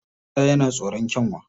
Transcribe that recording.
Ɓera yana tsoron Kyanwa